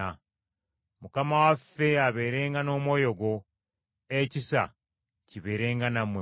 Mukama waffe abeerenga n’omwoyo gwo. Ekisa kibeerenga nammwe mwenna.